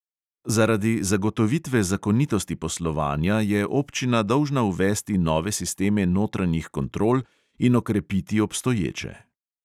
Zaradi zagotovitve zakonitosti poslovanja je občina dolžna uvesti nove sisteme notranjih kontrol in okrepiti obstoječe.